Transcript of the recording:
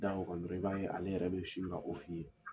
Da waga dɔrɔn i b'a ye ale yɛrɛ bɛ sin ka fɔ i ye.